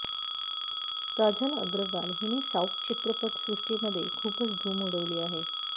काजल अग्रवाल हिने साऊथ चित्रपट सृष्टी मध्ये खूपच धूम उडवली आहे